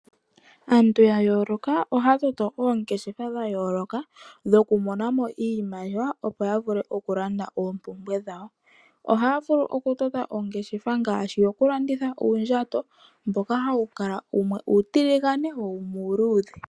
Aantu ya yooloka ohaya toto oongeshefa dha yooloka dhoku monamo iimaliwa, opo ya vule okulanda oompumbwe dhawo. Ohaya vulu okutota ongeshefa ngaashi yokulanditha uundjato mboka hawu kala wumwe uutiligane, wo wumwe uuludhe.